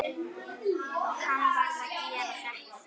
Hann varð að gera þetta.